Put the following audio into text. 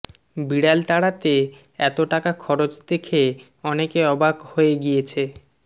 বিড়াল তাড়াতে এত টাকা খরচ দেখে অনেকে অবাক হয়ে গিয়েছে